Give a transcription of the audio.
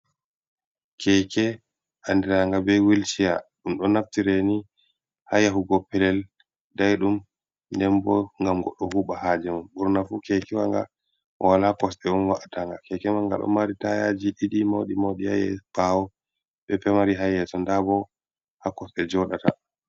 Keeke anndiraanga bee Wheelchair, ɗum ɗo naftire ni haa yahugo pelel daiɗum nden boo gam goɗɗo huuɓa haaje mum, burna fuu keeke wa nga mo walaa kosɗe on wa’'ata nga. Keeke man nga ɗo mari taayaaji ɗiɗi mawɗi-mawɗi haa ɓaawo bea pemari haa yeeso ndaa boo haa kosdɗe jooɗata